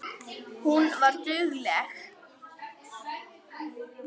Hún var dugleg.